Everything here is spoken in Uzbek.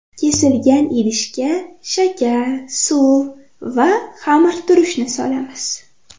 Kesilgan idishga shakar, suv va xamirturushni solamiz.